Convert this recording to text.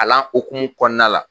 Kalan hukumu kɔnɔna la.